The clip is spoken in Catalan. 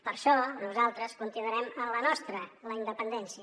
per això nosaltres continuarem en la nostra la independència